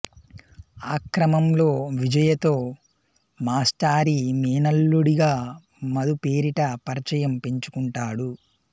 ఆక్రమంలో విజయతో మాస్టారి మేనల్లుడిగా మధు పేరిట పరిచయం పెంచుకుంటాడు